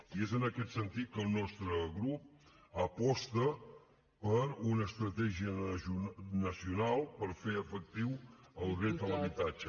i és en aquest sentit que el nostre grup aposta per una estratègia nacional per fer efectiu el dret a l’habitatge